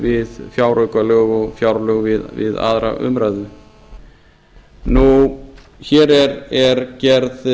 við fjáraukalög og fjárlög við aðra umræðu hér er gerð